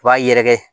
U b'a yɛrɛkɛ